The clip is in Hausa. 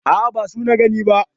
A'a, ba asu na gani ba.